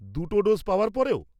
দুটো ডোজ পাওয়ার পরেও?